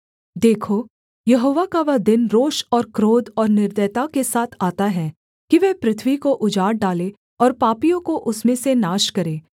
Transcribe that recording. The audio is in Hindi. देखो यहोवा का वह दिन रोष और क्रोध और निर्दयता के साथ आता है कि वह पृथ्वी को उजाड़ डाले और पापियों को उसमें से नाश करे